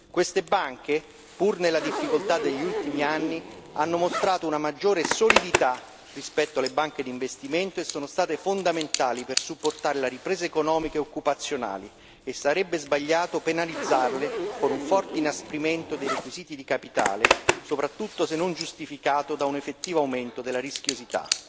Queste banche, pur nella difficoltà degli ultimi anni, hanno mostrato una maggiore solidità rispetto alle banche d'investimento e sono state fondamentali per sostenere la ripresa economica e occupazionale e sarebbe sbagliato penalizzare con un forte inasprimento dei requisiti di capitale, soprattutto se non giustificato da un effettivo aumento della rischiosità.